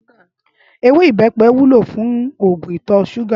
Éwé ibèpè wúló fún ógún itò ṣúgà